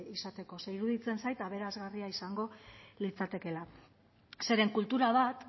izateko ze iruditzen zait aberasgarria izango litzatekeela zeren kultura bat